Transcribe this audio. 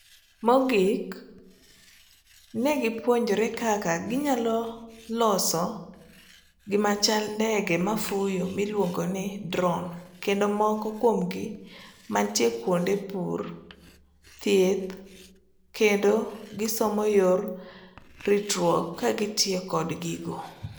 Mogik, ne gipuonjre kaka ginyalo kloso gimachal ndege mafuyo miluongo ni drone kendo moko kuomgi mantie kuonde pur ,thieth kendo gisomo yor ritruok kagitiyo kod gigo.